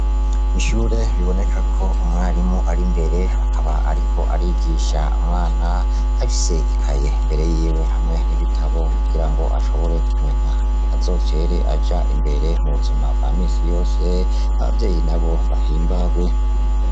Ishure biboneka ko umwarimu ari imbere akaba ariko arigisha umwana arafise ikaye imbere yiwe hamwe n' ibitabo kugira ngo ashobore kumenya azotere aja imbere mu buzima bwa misi yose abavyeyi nabo bahimbagwe.